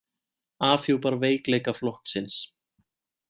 Afhjúpar veikleika flokksins